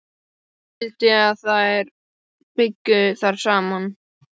Hún vildi að þær byggju þar saman.